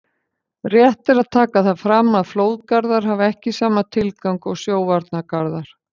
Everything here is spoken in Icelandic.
Rétt er að taka það fram að flóðgarðar hafa ekki sama tilgang og sjóvarnargarðar.